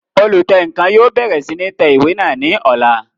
Olùtẹǹkan yóò bẹ̀rẹ̀ sí ní tẹ ìwé náà ní ọ̀la